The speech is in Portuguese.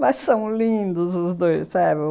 Mas são lindos os dois, sabe?